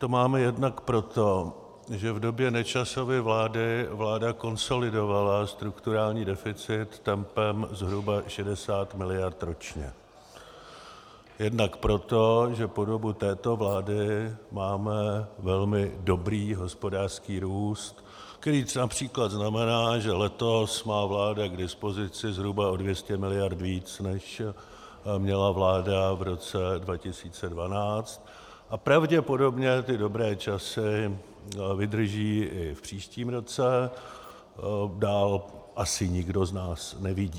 To máme jednak proto, že v době Nečasovy vlády vláda konsolidovala strukturální deficit tempem zhruba 60 miliard ročně, jednak proto, že po dobu této vlády máme velmi dobrý hospodářský růst, který například znamená, že letos má vláda k dispozici zhruba o 200 miliard víc, než měla vláda v roce 2012, a pravděpodobně ty dobré časy vydrží i v příštím roce, dál asi nikdo z nás nevidí.